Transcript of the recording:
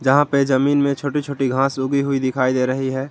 यहां पे जमीन में छोटी छोटी घास उगी हुई दिखाई दे रही है।